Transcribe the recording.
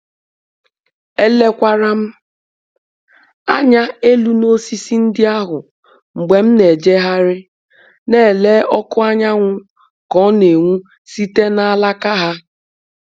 Elekwara m anya elu n'osisi ndị ahụ mgbe m na-ejegharị, na-ele ọkụ anyanwụ ka ọ na-enwu site na alaka ha.